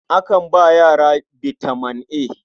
Akan ba yara bitaman A.